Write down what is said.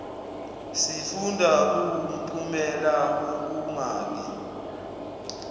sifunda kuwumphumela wokungabi